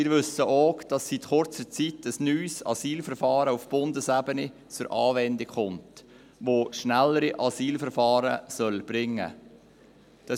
Wir wissen auch, dass seit kurzer Zeit ein neues Asylverfahren auf Bundesebene zur Anwendung kommt, das schnellere Asylverfahren bringen soll.